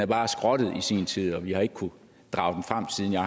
bare skrottet i sin tid og vi har ikke kunnet drage den frem siden jeg